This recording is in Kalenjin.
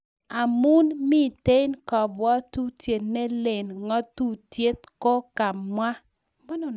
Amuun miitei kabwatutiet nelen ng�atutik kogamwa